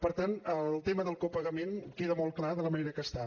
per tant el tema del copagament queda molt clar de la manera que està